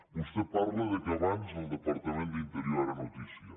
vostè parla que abans el departament d’interior era notícia